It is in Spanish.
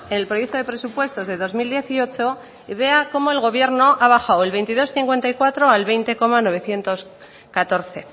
en el proyecto de presupuestos de dos mil dieciocho y vea cómo el gobierno ha bajado del veintidós coma cincuenta y cuatro al veinte coma novecientos catorce